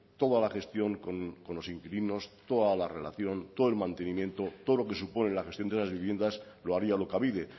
toda la gestión con los inquilinos toda la relación todo el mantenimiento todo lo que supone la gestión de las viviendas lo haría alokabide